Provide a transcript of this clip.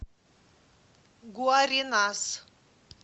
гуаренас